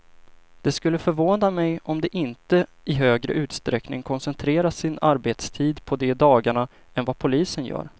Det skulle förvåna mig om de inte i högre utsträckning koncentrerar sin arbetstid på de dagarna än vad polisen gör.